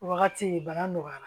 Wagati bana nɔgɔyara